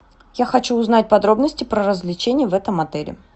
я хочу узнать подробности про развлечения в этом отеле